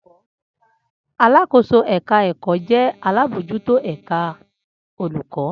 Alakoso-èka-èkò jẹ́ alábòójútó ẹ̀ka olùkọ́.